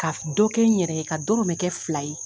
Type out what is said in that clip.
Ka dɔ kɛ n yɛrɛ ye ka dɔrɔmɛ kɛ fila ye.